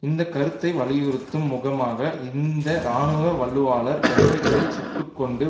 இந்த கருத்தை வலியுறுத்தும் முகமாக இந்த இராணுவ வலுவாளர் எல்லைகளில் சுட்டு கொண்டு